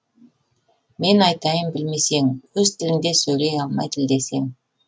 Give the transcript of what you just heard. мен айтайын білмесең өз тіліңде сөйлей алмай тілдесең